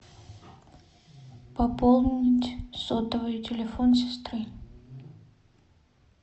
пополнить сотовый телефон сестры